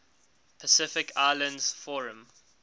pacific islands forum